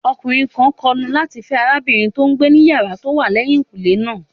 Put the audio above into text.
Ọkùnrin kan kọnu láti fẹ́ arábìnrin tó n gbé ní yàrá tó wà lẹ́yìn kùnlé náà